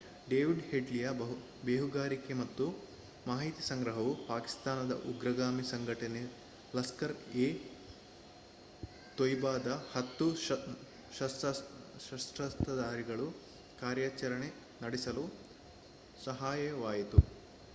David ಹೆಡ್ಲಿಯ ಬೇಹುಗಾರಿಕೆ ಮತ್ತು ಮಾಹಿತಿ ಸಂಗ್ರಹವು ಪಾಕಿಸ್ತಾನದ ಉಗ್ರಗಾಮಿ ಸಂಘಟನೆ ಲಷ್ಕರ್ ಎ ತೊಯ್ಬಾದ 10 ಸಶಸ್ತ್ರಧಾರಿಗಳು ಕಾರ್ಯಾಚರಣೆ ನಡೆಸಲು ಸಹಾಯವಾಯಿತು